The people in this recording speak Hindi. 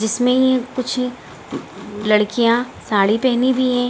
जिसमें कुछ लड़कियाँ साड़ी पहनी हुई है ।